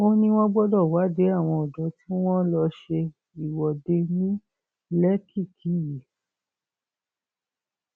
ó ní wọn gbọdọ wádìí àwọn ọdọ tí wọn lọọ ṣe ìwọde ní lẹkìkí yìí